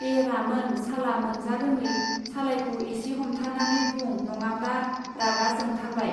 ऐ रामोन साला मोनजा रोङै सालाइखौ इसे हमथानानै बुं नङाब्ला! रागा जोंथारबाय.